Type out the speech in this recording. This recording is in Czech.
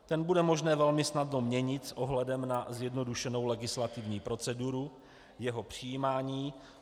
Ten bude možné velmi snadno měnit s ohledem na zjednodušenou legislativní procedurou jeho přijímání.